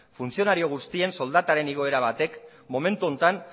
funtzionario guztien soldataren igoera batek momentu honetan